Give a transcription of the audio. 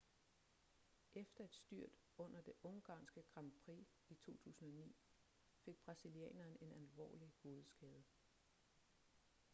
efter et styrt under det ungarske grand prix i 2009 fik brasilianeren en alvorlig hovedskade